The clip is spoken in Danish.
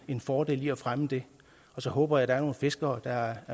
en fordel i at fremme det så håber jeg der er nogle fiskere der er